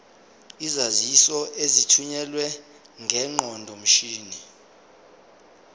izaziso ezithunyelwe ngeqondomshini